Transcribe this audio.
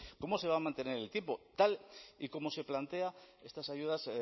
cómo se va a mantener en el tiempo tal y como se plantean estas ayudas